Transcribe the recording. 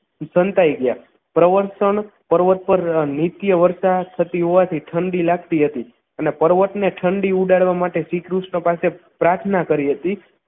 સંતાઈ ગયા પ્રવસ્થન પર્વત પર નિત્ય વર્ષા થતી હોવાથી ઠંડી લાગતી હતી અને પર્વત ને ઠંડી ઉડાડવા માટે શ્રીકૃષ્ણ પાસે પ્રાર્થના કરી હતી